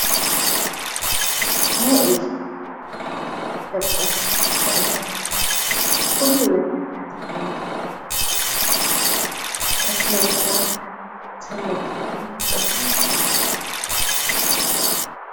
ሀ ኢልካ ፍልጠትካ ክእለትካ ኩሉ ነገርካ ተዕብየላ ስነ ምግባርካ ትህነፀላ እንታይ ትበሃል ?